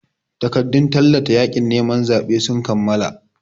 Takardun tallata yaƙin neman zaɓen sun kammala.